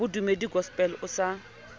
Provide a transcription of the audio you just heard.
wa bodumedi gospel o sa